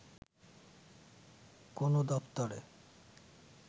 কোনো দপ্তরে